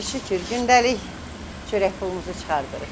Şükür, gündəlik çörək pulumuzu çıxardırıq.